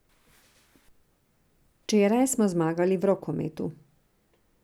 Včeraj smo zmagali v rokometu.